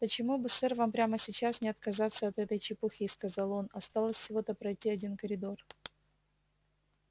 почему бы сэр вам прямо сейчас не отказаться от этой чепухи сказал он осталось всего-то пройти один коридор